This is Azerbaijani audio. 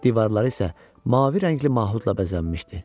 Divarları isə mavi rəngli mahudla bəzənmişdi.